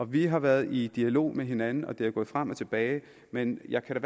vi har været i dialog med hinanden og det er gået frem og tilbage men jeg kan